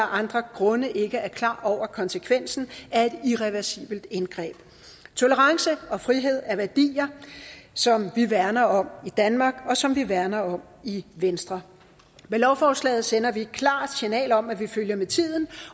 andre grunde ikke er klar over konsekvensen af et irreversibelt indgreb tolerance og frihed er værdier som vi værner om i danmark og som vi værner om i venstre med lovforslaget sender vi et klart signal om at vi følger med tiden